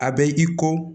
A bɛ i ko